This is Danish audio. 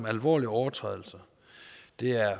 alvorlige overtrædelser det er